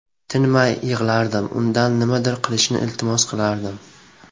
Tinmay yig‘lardim, undan nimadir qilishni iltimos qilardim.